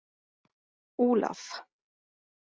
Olaf